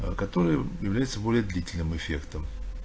аа который является более длительным эффектом